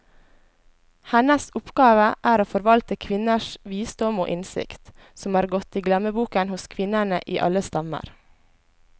Hennes oppgave er å forvalte kvinners visdom og innsikt, som er gått i glemmeboken hos kvinnene i alle stammer.